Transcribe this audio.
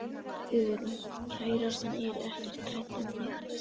Hugrún: Kærastan er ekkert hrædd um þig?